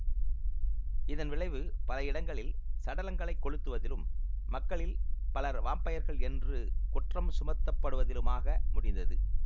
இதன் விளைவு பல இடங்களில் சடலங்களைக் கொளுத்துவதிலும் மக்களில் பலர் வாம்பயர்கள் என்று குற்றம் சுமத்தப்படுவதிலுமாக முடிந்தது